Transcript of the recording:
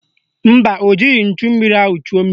Mba, o jighị nchummiri ahụ chuo mmiri.